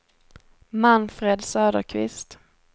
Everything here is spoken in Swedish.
Manfred Söderqvist